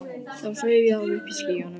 Þá sveif ég alveg uppi í skýjunum.